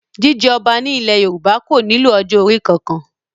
Jíjẹ ọba ní ilẹ̀ Yorùbá kò nílò ọjọ́ orí kankan